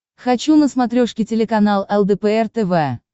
хочу на смотрешке телеканал лдпр тв